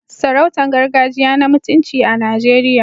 Sarautun gargajiya na mutunci a Najeriya.